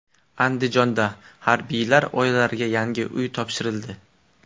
Andijonda harbiylar oilalariga yangi uy topshirildi.